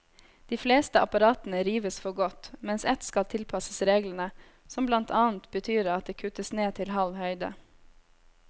De fleste apparatene rives for godt, mens ett skal tilpasses reglene, som blant annet betyr at det kuttes ned til halv høyde.